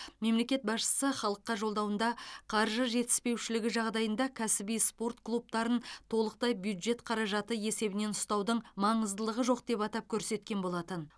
мемлекет басшысы халыққа жолдауында қаржы жетіспеушілігі жағдайында кәсіби спорт клубтарын толықтай бюджет қаражаты есебінен ұстаудың маңыздылығы жоқ деп атап көрсеткен болатын